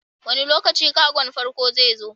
Wane lokaci kagon farko zai zo?